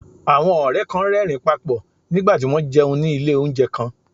Àwọn ọ̀rẹ́ kan ń rẹ́rìn-ín pa pọ̀ nígbà tí wọ́n ń jẹun ní ilé oúnjẹ kan